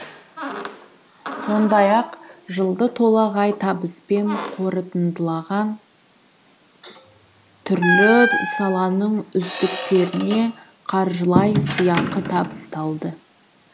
сондай ақ жылды толағай табыспен қорытындылаған түрлі саланың үздіктеріне қаржылай сыйақы табысталды